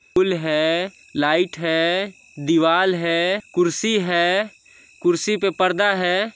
फूल हैं लाइट हैंदीवाल हैं कुर्सी हैं कुर्सी पे पर्दा हैं।